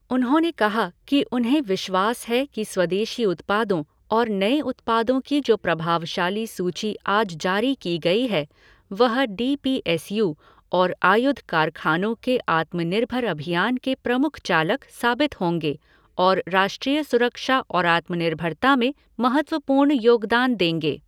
उन्होंने कहा कि उन्हें विश्वास है कि स्वदेशी उत्पादों और नए उत्पादों की जो प्रभावशाली सूची आज जारी की गई है, वह डी पी एस यू और आयुध कारखानों के आत्मनिर्भर अभियान के प्रमुख चालक साबित होंगे और राष्ट्रीय सुरक्षा और आत्मनिर्भरता में महत्वपूर्ण योगदान देंगें।